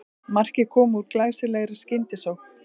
Markið kom úr glæsilegri skyndisókn